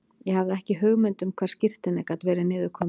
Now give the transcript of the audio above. Ég hafði ekki hugmynd um hvar skírteinið gat verið niður komið.